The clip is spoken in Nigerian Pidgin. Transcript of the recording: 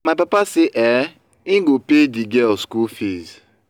my papa say um im go pay the girl school fees